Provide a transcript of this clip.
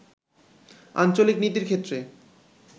আঞ্চলিক নীতির ক্ষেত্রে